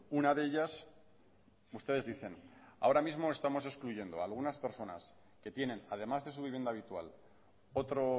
una de ellas ustedes dicen ahora mismo estamos excluyendo algunas personas que tienen además de su vivienda habitual otro